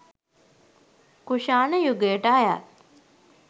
කුෂාණ යුගයට අයත්